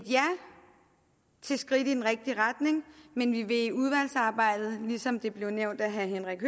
skridt i den rigtige retning men vi vil i udvalgsarbejdet ligesom det blev nævnt af herre henrik